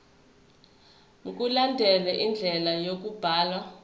mkulandelwe indlela yokubhalwa